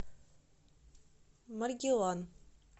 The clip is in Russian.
маргилан